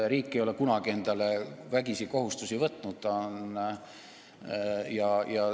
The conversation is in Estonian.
Riik ei ole kunagi endale vägisi kohustusi võtnud.